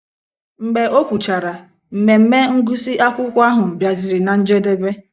Mgbe o kwuchara, mmemme ngụsị akwụkwọ ahụ bịaziri ná njedebe.